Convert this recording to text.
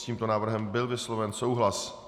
S tímto návrhem byl vysloven souhlas.